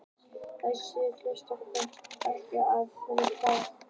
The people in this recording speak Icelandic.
Þessar niðurstöður koma heim og saman við erlendar mælingar.